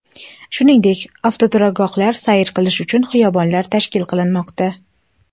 Shuningdek, avtoturargohlar, sayr qilish uchun xiyobonlar tashkil qilinmoqda.